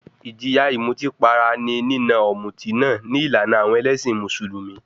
Ìjìyà ìmutípara ní nína ọ̀mùtí náà ní ìlànà àwọn ẹlẹ́sìn Mùsùlùmí.